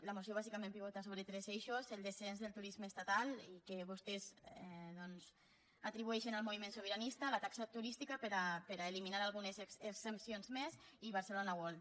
la moció bàsicament pivota sobre tres eixos el descens del turisme estatal i que vostès doncs atribueixen al moviment sobiranista la taxa turística per a eliminar algunes exempcions més i barcelona world